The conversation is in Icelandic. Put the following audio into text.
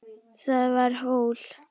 Það var hól.